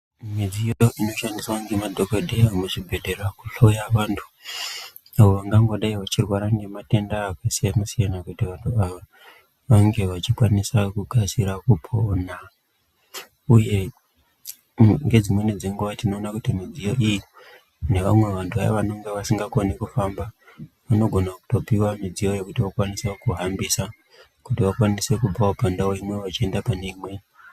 Midziyo inoshandiswa ngemadhokodheya muzvibhedhlera kuhloya vantu vangangodayi vachirwarwa ngematenda akasiyana siyana kuti vange vachikwanisa kukasira kupona. Uye, ngedzimwe nedzinguva tinona kuti midziyo iyi nevamwe vantu vayo vasingakhone kuhamba vanogona kutopiwa midziyo iyi kutokwanisa kuhambisa kuti vakwanise kubva kundawo ino vachienda pane imwe.